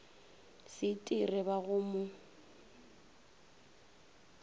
se itire ba go mo